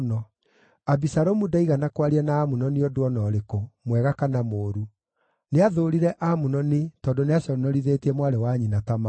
Abisalomu ndaigana kwaria na Amunoni ũndũ o na ũrĩkũ, mwega kana mũũru; nĩathũũrire Amunoni tondũ nĩaconorithĩtie mwarĩ wa nyina Tamaru.